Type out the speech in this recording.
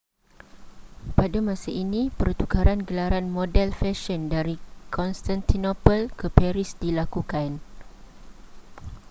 pada masa ini pertukaran gelaran model fesyen dari constantinople ke paris dilakukan